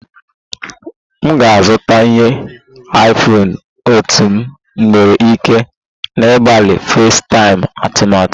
M ga-azụta ihe iPhone otú m nwere ike na-agbalị FaceTime atụmatụ